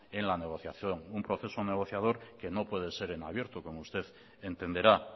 en la negociación un proceso negociador que no puede ser en abierto como usted entenderá